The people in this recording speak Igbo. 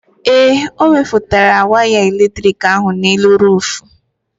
Ee, ọ wefere waya eletrik ahụ n'elu ruufu.